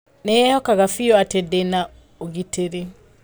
Nĩ eehokaga biũ atĩ ndĩ na ũgitĩri.